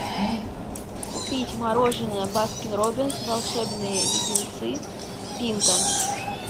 купить мороженое баскин робинс волшебные леденцы пинта